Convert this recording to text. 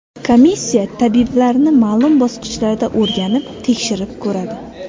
Komissiya tabiblarni ma’lum bosqichlarda o‘rganib, tekshirib ko‘radi.